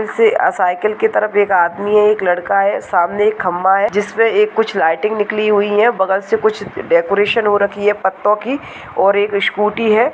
से साइकिल की तरफ एक आदमी है एक लड़का है सामने एक खम्बा है जिसमे एक कुछ लाइटिंग निकली हुई हैंबगल से कुछ डेकोरेशन हो रखी है पत्तो की और एक स्कूटी है।